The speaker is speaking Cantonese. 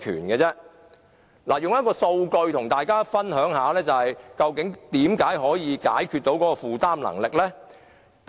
我想以數據跟大家解釋，為何這樣做能夠解決買家負擔能力的問題。